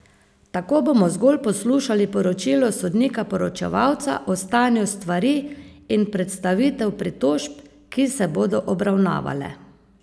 Tako bomo zgolj poslušali poročilo sodnika poročevalca o stanju stvari in predstavitev pritožb, ki se bodo obravnavale.